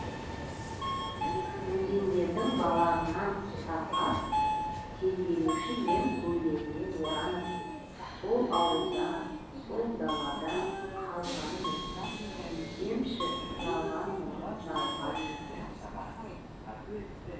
өзендердің балағынан ұстап ап тербелуші ем көйлегіне оранып сол ауылда сол далада қалғанмын түсінсемші жалғандығын жалғанның